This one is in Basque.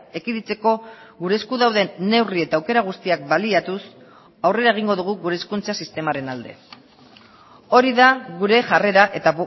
ekiditeko gure esku dauden neurri eta aukera guztiak baliatuz aurrera egingo dugu gure hezkuntza sistemaren alde hori da gure jarrera eta